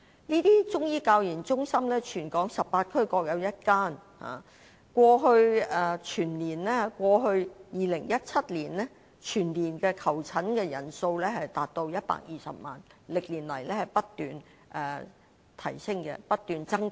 這些中醫教研中心在全港18區各有1間，在2017年，全年的求診人數達至120萬，歷年來不斷增加。